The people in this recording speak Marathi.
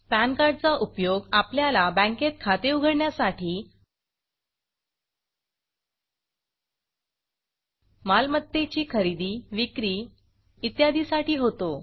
पॅन कार्ड चा उपयोग आपल्याला बँकेत खाते उघडण्यासाठी मालमत्तेची खरेदी विक्री इत्यादी साठी होतो